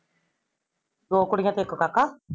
ਦੋ ਕੁੜੀਆਂ ਤੇ ਇਕ ਕਾਕਾ?